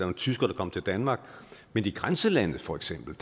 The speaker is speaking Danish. en tysker der kom til danmark men i grænselandet for eksempel